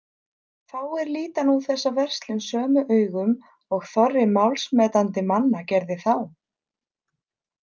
Fáir líta nú þessa verslun sömu augum og þorri málsmetandi manna gerði þá.